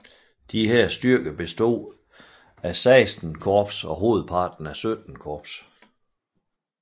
Disse styrker bestod af XVI Korps og hovedparten af XVII Korps